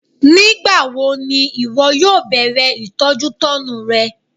Nígbàwo ni ìwọ yóò bẹ̀rẹ̀ ìtọ́jútọ́nu rẹ?